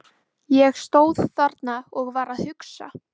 Ég stóð þarna og var að hugsa.